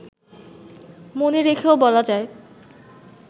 মনে রেখেও বলা যায়